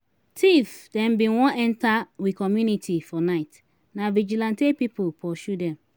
tif dem bin wan enta we community for night na vigilantee pipu pursue dem.